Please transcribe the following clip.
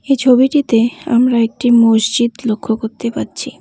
এই ছবিটিতে আমরা একটি মসজিদ লক্ষ করতে পারছি।